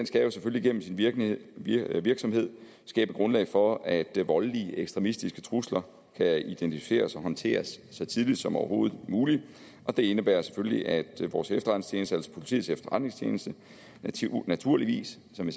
skal jo selvfølgelig gennem sin virksomhed virksomhed skabe grundlag for at voldelige ekstremistiske trusler kan identificeres og håndteres så tidligt som overhovedet muligt og det indebærer selvfølgelig at vores efterretningstjeneste altså politiets efterretningstjeneste naturligvis som